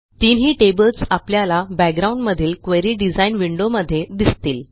तिनही टेबल्स आपल्याला बॅकग्राउंड मधीलquery डिझाइन विंडोमध्ये दिसतील